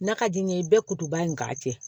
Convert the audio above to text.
N'a ka di n ye i bɛ kutuba in k'a cɛ